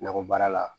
Nakɔ baara la